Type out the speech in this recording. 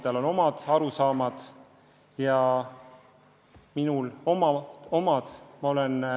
Teistel on olnud omad arusaamad ja minul on omad.